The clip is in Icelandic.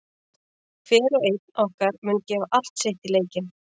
Hver og einn okkar mun gefa allt sitt í leikinn.